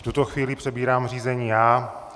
V tuto chvíli přebírám řízení já.